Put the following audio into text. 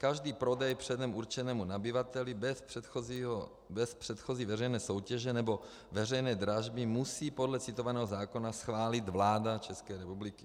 Každý prodej předem určenému nabyvateli bez předchozí veřejné soutěže nebo veřejné dražby musí podle citovaného zákona schválit vláda České republiky.